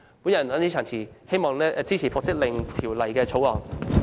我謹此陳辭，希望大家支持《條例草案》。